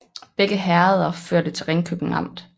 Begge herreder hørte til Ringkøbing Amt